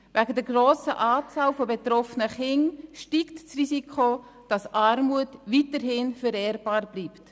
Wegen der grossen Anzahl von betroffenen Kindern steigt das Risiko, dass Armut weiterhin vererbbar bleibt.